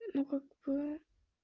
ну ка к бы